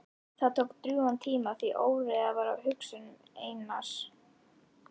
Það tók drjúgan tíma því óreiða var á hugsun Einars.